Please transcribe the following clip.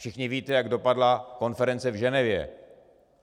Všichni víte, jak dopadla konference v Ženevě.